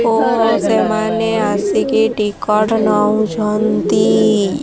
ଓଃ ସେମାନେ ଆସିକି ଟିକଟ୍ ନଉଛନ୍ତି।